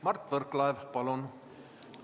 Mart Võrklaev, palun!